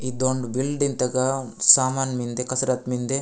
ई दोन बिल्डिंग त्का समान मिन्दे कसरत मिन्दे।